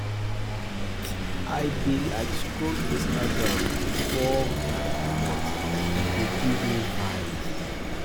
um I dey like scroll Instagram before um I comot; e dey give um me vibes.